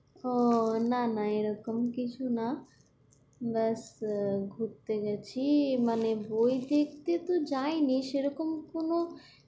আহ না না এরকম কিছু না just ঘুরতে গেছি মানে বই দেখতে তো যায়নি, সেরকম কোনো